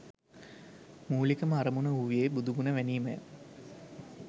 මූලිකම අරමුණ වූයේ බුදු ගුණ වැනීමය.